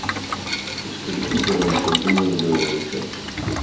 скажите мне пожалуйста а кто меня добавил в этот чат